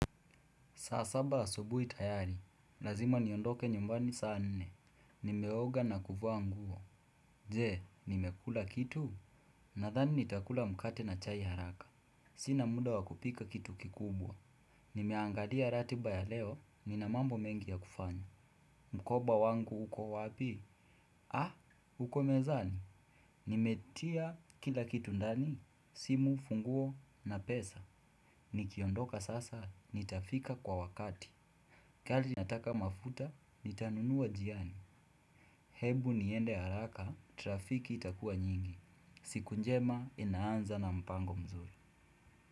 Saa saba asubuhi tayari, lazima niondoke nyumbani saa nne. Nimeoga na kuvaa nguo. Je, nimekula kitu? Nadhani nitakula mkate na chai haraka. Sina muda wa kupika kitu kikubwa. Nimeangalia ratiba ya leo, nina mambo mengi ya kufanya. Mkoba wangu uko wapi? Ha? Uko mezani? Nimetia kila kitu ndani? Simu, funguo na pesa. Nikiondoka sasa, nitafika kwa wakati gari inataka mafuta, nitanunua njiani. Hebu niende haraka, trafiki itakuwa nyingi. Siku njema, inaanza na mpango mzuri.